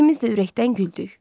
İkimiz də ürəkdən güldük.